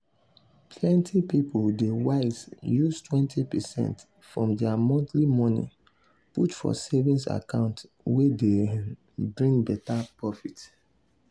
plenty people dey wise use 20 percent from their monthly money put for savings account wey dey bring better profit.